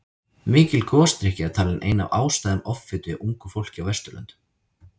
Mikil gosdrykkja er talin ein af ástæðum offitu hjá ungu fólki á Vesturlöndum.